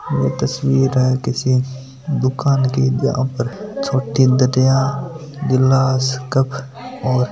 वो तस्वीर है किसी दुकान की जहां पर छोटी दरिया गिलास कप और --